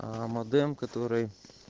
аа модем который